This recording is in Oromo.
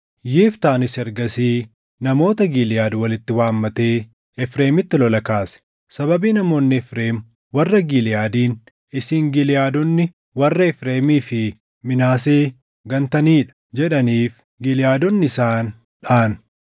Yiftaanis ergasii namoota Giliʼaad walitti waammatee Efreemitti lola kaase. Sababii namoonni Efreem warra Giliʼaadiin, “Isin Giliʼaadonni warra Efreemii fi Minaasee gantanii dha” jedhaniif Giliʼaadonni isaan dhaʼan.